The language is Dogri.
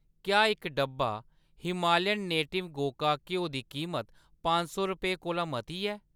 क्या इक डब्बा हिमालयन नेटिव्ज़ गोका घ्यो दी कीमत पंज सौ रपेंऽ कोला मती ऐ ?